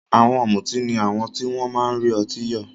Àwọn ọ̀mùtí ni àwọn tí wọ́n máa ń rí ọtí yọ̀.